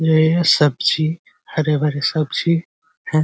ये यहाँ सब्जी हरे-भरे सब्जी हैं ।